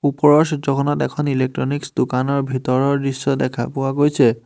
ওপৰৰ চিত্ৰখনত এখন ইলেক্ট্ৰনিকছ দোকানৰ ভিতৰৰ দৃশ্য দেখা পোৱা গৈছে।